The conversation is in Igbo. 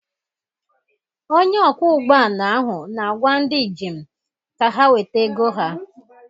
Onye ọkwọ ụgbọala ahụ na-agwa ndị njem ka ha weta ego ha.